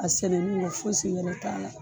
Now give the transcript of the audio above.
A sɛnɛni yɛ fo fosi wɛrɛ t'a la.